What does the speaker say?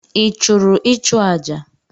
I chụrụ ịchụ aja?